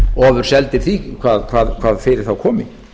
ofurseldir því hvað fyrir þá komi